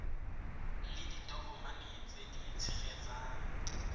le ditokomane tse di tshegetsang